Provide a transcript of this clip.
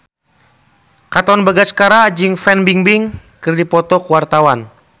Katon Bagaskara jeung Fan Bingbing keur dipoto ku wartawan